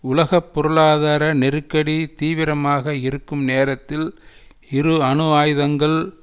உலக பொருளாதார நெருக்கடி தீவிரமாக இருக்கும் நேரத்தில் இரு அணுவாயுதங்கள்